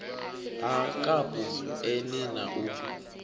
ha kapu eni na u